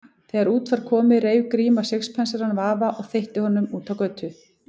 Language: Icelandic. Þegar út var komið reif Gríma sixpensarann af afa og þveitti honum út á götu.